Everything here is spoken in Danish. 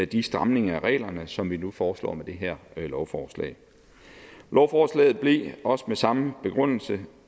de stramninger af reglerne som vi nu foreslår med det her lovforslag lovforslaget blev også med samme begrundelse